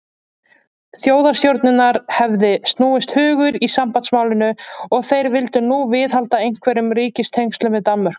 Þjóðstjórnarinnar hefði snúist hugur í sambandsmálinu, og þeir vildu nú viðhalda einhverjum ríkistengslum við Danmörku.